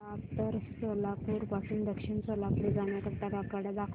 मला उत्तर सोलापूर पासून दक्षिण सोलापूर जाण्या करीता आगगाड्या दाखवा